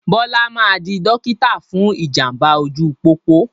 Bọlá máa di dókítà fún ìjàmbá ojú pópó